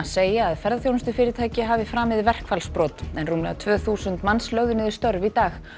segja að ferðaþjónustufyrirtæki hafi framið verkfallsbrot en rúmlega tvö þúsund manns lögðu niður störf í dag